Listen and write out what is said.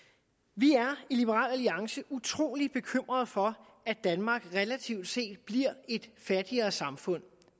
vi er i liberal alliance utrolig bekymrede for at danmark relativt set bliver et fattigere samfund